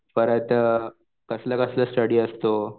परत कसलं कसलं स्टडी असतो?